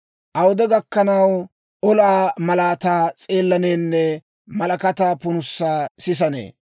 Awude gakkanaw olaa malaataa s'eellaneenne malakataa punusaa sisanee?